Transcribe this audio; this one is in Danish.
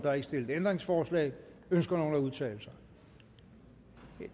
er ikke stillet ændringsforslag ønsker nogen at udtale sig det